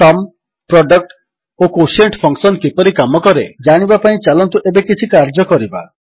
sum product ଓ quotient function କିପରି କାମକରେ ଜାଣିବା ପାଇଁ ଚାଲନ୍ତୁ ଏବେ କିଛି କାର୍ଯ୍ୟ କରିବା